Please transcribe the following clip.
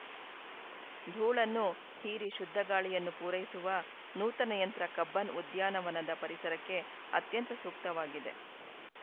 ಧೂಳನ್ನು ಹೀರಿ ಶುದ್ಧಗಾಳಿಯನ್ನು ಪೂರೈಸುವ ನೂತನ ಯಂತ್ರ ಕಬ್ಬನ್‌ ಉದ್ಯಾನವನದ ಪರಿಸರಕ್ಕೆ ಅತ್ಯಂತ ಸೂಕ್ತವಾಗಿದೆ